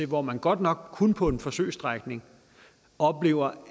hvor man godt nok kun på en forsøgsstrækning oplever